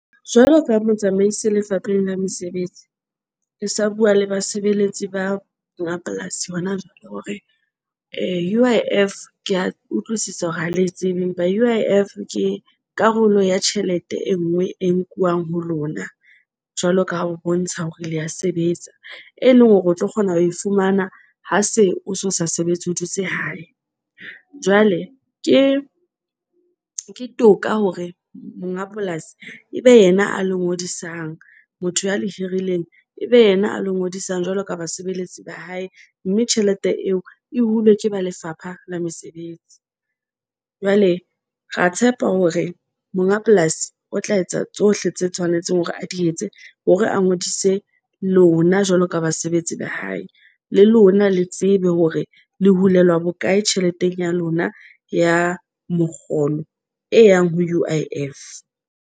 Jwalo ka Motsamaisi Lefapheng la Mesebetsi, ke sa bua le basebeletsi ba mapolasi. Hona jwale hore U_I_F, ke a utlwisisa hore ha le e tsebe empa U_I_F. Ke karolo ya tjhelete e nngwe e nkuwang ho lona jwaloka ha o bontsha hore le a sebetsa, e leng hore o tlo kgona ho e fumana, ha se o so sa sebetse. O dutse hae, jwale ke ke toka hore monga polasi e be yena a le ngodisang motho ya le hirileng, ebe yena a lo ngodisang jwalo ka basebeletsi ba hae mme tjhelete eo e hulwe ke ba Lefapha la Mesebetsi. Jwale ra tshepa hore monga polasi o tla etsa tsohle tse tshwanetseng hore a di etse hore a ngodise lona jwalo ka basebetsi ba hae. Le lona le tsebe hore le hulelwa bokae tjheleteng ya lona ya mokgolo e yang ho U_I_F.